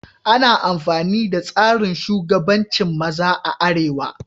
Ana amfani da tsarin shugabancin maza a arewa.